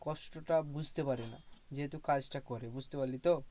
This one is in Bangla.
কষ্টটা বুঝতে পারে যেহেতু কাজটা করে বুঝতে পারলি তো?